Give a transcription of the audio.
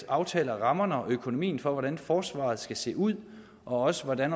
aftaler rammerne og økonomien for forsvaret og hvordan forsvaret skal se ud og også hvordan